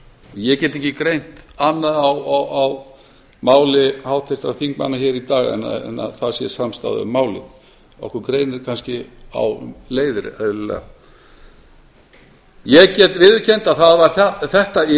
ég get ekki greint annað á máli háttvirtra þingmanna hér í dag en að það sé samstaða um málið okkur greinir kannski á um leiðir eðlilega ég get viðurkennt að það var þetta